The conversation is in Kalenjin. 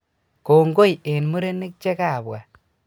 kongoi en murenik che kapwa